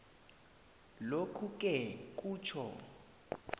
lokhuke kutjho